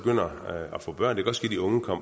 man være